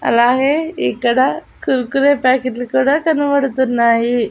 అలాగే ఇక్కడ కుర్కురే ప్యాకెట్లు లు కూడా కనబడుతున్నాయి.